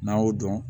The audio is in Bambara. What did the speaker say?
N'a y'o dɔn